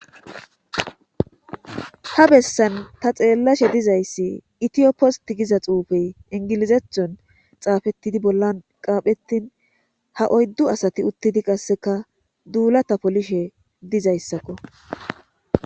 Ha bessan ta xeellashe dizayssi itiyopost giza xuufey ingilizethon xaafettidi bollan qaaphettin ha oyddu asati uttidi qasseka duulata polishe dizayssakko